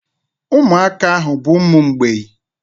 Umuaka ahu bu umu mgbei